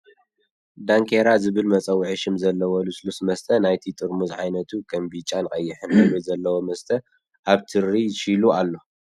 ዳንኬራ ዝብል መፀውዒ ሽም ዘለዎ ልስሉስ መስተ ናይቲ ጥርሙዝ ዓይነቱ ከም ቢጫን ቀይሕን ሕብሪ ዘለዎ መስተ ኣብ ትሪ ሺዙ ኣሎ።